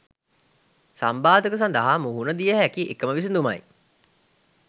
සම්බාධක සදහා මුහුණ දිය හැකි එකම විසදුමයි.